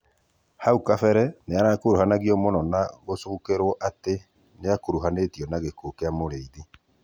Haũ kabere nĩararegana mũno na gũcũkĩrwo atĩ nĩakũrũhanĩtĩo na gĩkũũ kĩa Mũrĩĩthĩ